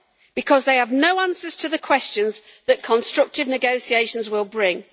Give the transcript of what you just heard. Because they have no answers to the questions that constructive negotiations will bring.